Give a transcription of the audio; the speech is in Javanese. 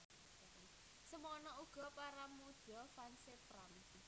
Semono uga para mudha fans é Pram